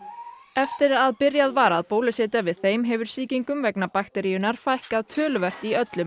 eftir að byrjað var að bólusetja við þeim hefur sýkingum vegna bakteríunnar fækkað töluvert í öllum